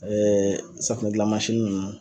safunɛdilan mansini ninnu